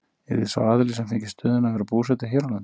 Yrði sá aðili sem fengi stöðuna að vera búsettur hér á landi?